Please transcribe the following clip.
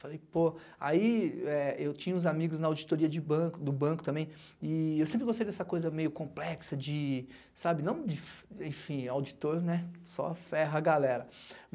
Falei, pô, aí é eu tinha os amigos na auditoria de banco, de do banco também, e eu sempre gostei dessa coisa meio complexa de, sabe, não de, en enfim, auditor, né, só ferra a galera.